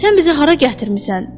Sən bizi hara gətirmisən?